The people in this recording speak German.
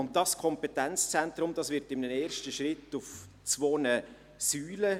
Dieses Kompetenzzentrum wird in einem ersten Schritt auf zwei Säulen stehen.